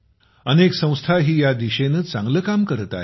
अनेक संस्थाही या दिशेने चांगले काम करत आहेत